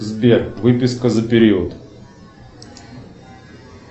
сбер выписка за период